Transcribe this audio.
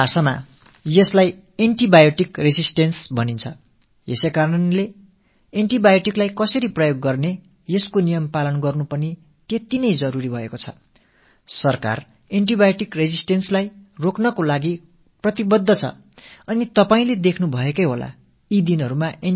மருத்துவ பரிபாஷையில் இதை ஆன்டிபயோட்டிக் ரெசிஸ்டன்ஸ் என்று அழைக்கிறோம் ஆகையால் எந்த அளவுக்கு ஆன்டிபயோட்டிக் எப்படி பயன்படுத்தப்பட வேண்டும் என்பது முக்கியமானதோ அதே அளவுக்கு அவற்றை எடுத்துக் கொள்ளும் விதிமுறைகளைப் பின்பற்றுவதும் முக்கியமானவை தாம்